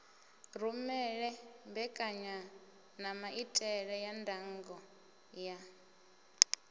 rumele mbekanyanamaitele ya ndango ya